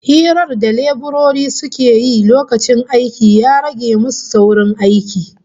Hirar da leburorin suka yi lokacin aikin ya rage musu saurin aikin